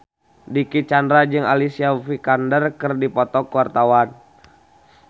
Dicky Chandra jeung Alicia Vikander keur dipoto ku wartawan